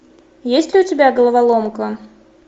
есть ли у тебя головоломка